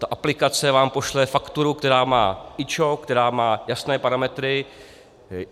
Ta aplikace vám pošle fakturu, která má IČO, která má jasné parametry.